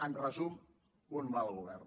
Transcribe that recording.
en resum un mal govern